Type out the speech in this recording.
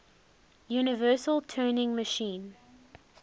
universal turing machine